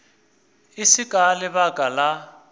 e se ka lebaka la